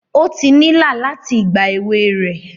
O ti nila láti ìgbà èwe rẹ